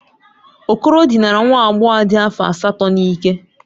Okoro dinara nwa agbọghọ dị afọ asatọ n'ike.